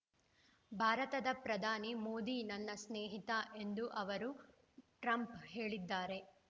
ಭಾರತದ ಪ್ರಧಾನಿ ಮೋದಿ ನನ್ನ ಸ್ನೇಹಿತ ಎಂದು ಅವರುಟ್ರಂಪ್‌ ಹೇಳಿದ್ದಾರೆ